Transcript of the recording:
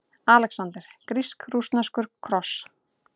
ALEXANDER: Grísk-rússneskur kross!